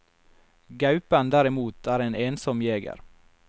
Gaupen derimot er en ensom jeger.